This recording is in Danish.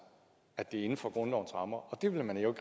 at det er inden for grundlovens rammer og det vil man jo